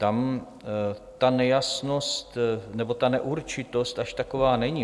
Tam ta nejasnost nebo ta neurčitost až taková není.